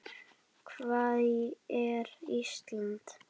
Hvar er Ísland?